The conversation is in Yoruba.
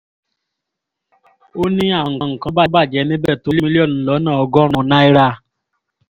ó ní àwọn nǹkan tó bàjẹ́ níbẹ̀ tó mílíọ̀nù lọ́nà ọgọ́rùn náírà